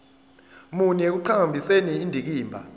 muni ekuqhakambiseni indikimba